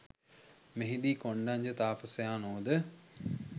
මෙහිදී කොණ්ඩඤ්ඤ තාපසයාණෝද